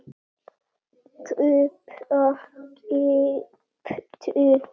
kaupa- keyptu